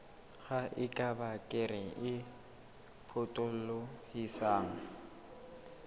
ha eba kere e potolohisang